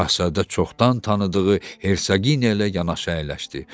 Şahzadə çoxdan tanıdığı Hersaqiniya ilə yanaşı əyləşdi.